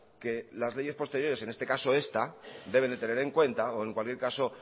que las leyes posteriores en este caso esta deben de tener en cuenta o en cualquier caso